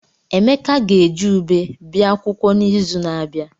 Emeka ga-eji ụbe bia akwụkwọ n'izu na-abịa.